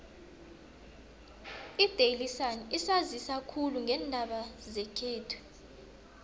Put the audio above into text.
idaily sun isanzisa khulu ngeendaba zekhethu